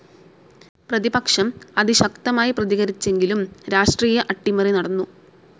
പ്രതിപക്ഷം അതിശക്തമായി പ്രതികരിച്ചെങ്കിലും രാഷ്ട്രീയ അട്ടിമറി നടന്നു,,.